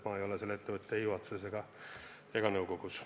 Ma ei ole selle ettevõtte juhatuses ega nõukogus.